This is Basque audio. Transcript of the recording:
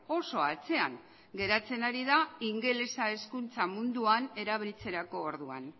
oso atzean geratzen ari da ingelesa hezkuntza munduan erabiltzerako orduan